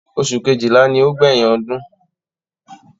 Oṣù kejìlá ni ó gbẹ̀yìn ọdún.